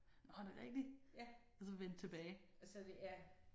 Nåh er det rigtigt? Og så vendt tilbage